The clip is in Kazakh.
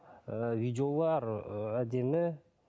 ыыы видеолар ыыы әдемі